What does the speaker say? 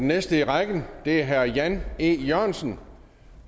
næste i rækken er herre jan e jørgensen